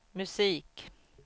musik